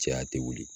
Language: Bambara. Cɛya tɛ wuli